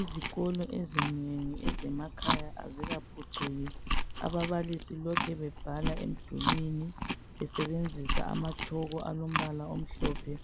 Izikolo ezinengi ezemakhaya azikaphucuki ababalisi lokhu bebhala emdulini besebenzisa amatshoko alombala omhlophe